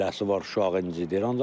Eləsi var uşağı incididir.